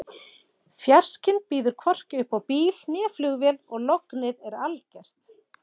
Fjarskinn býður hvorki upp á bíl né flugvél og lognið er algert.